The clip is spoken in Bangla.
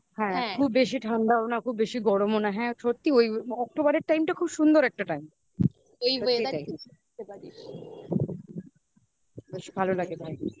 হ্যাঁ খুব বেশি ঠান্ডাও না. খুব বেশি গরমও না. হ্যা. সত্যিই ওই October এর time টা খুব সুন্দর একটা time. এই weather বেশ ভালো লাগে ভাই